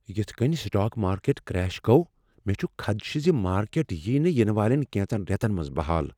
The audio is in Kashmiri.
یتھ کٔنۍ سٹاک مارکیٹ کریش گوٚو، مےٚ چھ خدشہ ز مارکیٹ ییہ نہٕ ینہٕ والین کینژن ریتن منز بحال ۔